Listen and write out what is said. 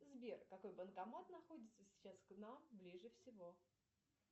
сбер какой банкомат находится сейчас к нам ближе всего